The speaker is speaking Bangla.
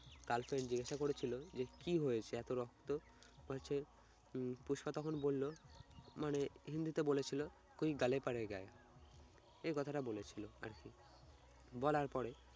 girlfriend জিজ্ঞাসা করেছিল যে কি হয়েছে এত রক্ত? বলছে উম পুষ্পা তখন বলল মানে হিন্দিতে বলেছিল এই কথাটা বলেছিল আর কি। বলার পরে